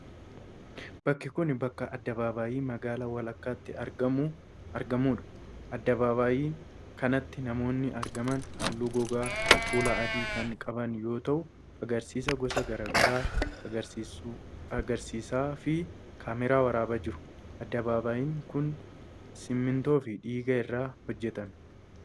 Bakki kun, bakka addabaabaayii magaalaa walakkaatti argamuu dha. Addabaaabaayii kanatti namoonni argaman haalluu gogaa fuulaa adii kan qaban yoo ta'u, agarsiisa gosa garaa garaa agarsiisaa fi kaameraan waraabaa jiru. Addabaabaayiin kun, simiintoo fi dhigaa irraa hojjatame.